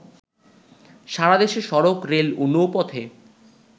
সারা দেশে সড়ক, রেল ও নৌপথে